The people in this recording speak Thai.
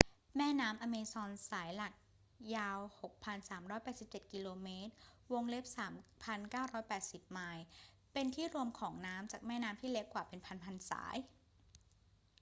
แม่น้ำแอมะซอนสายหลักยาว 6,387 กม. 3,980 ไมล์ เป็นที่รวมของน้ำจากแม่น้ำที่เล็กกว่าเป็นพัน ๆ สาย